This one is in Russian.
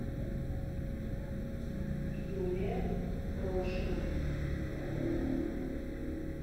юлия прошина